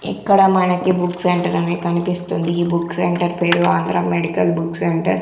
ఇక్కడ మనకి book centre అనే కనిపిస్తుంది ఈ బుక్ సెంటర్ పేరు ఆంధ్ర మెడికల్ బుక్ సెంటర్ .